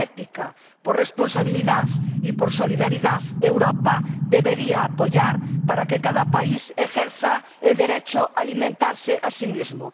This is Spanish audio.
Por ética, por responsabilidad y por solidaridad, Europa debería apoyar para que cada país ejerza el derecho a alimentarse a sí mismo.